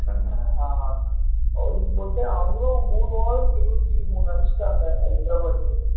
ஆஹ் bowling போட்டு அவங்களும் மூணு over க்கு இருபத்தி மூணு அடிச்சிட்டாங்க ஹைதராபாத்